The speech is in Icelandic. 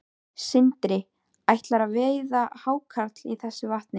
Sindri: Ætlarðu að veiða hákarl í þessu vatni?